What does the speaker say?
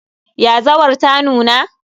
Yazawar ta nuna?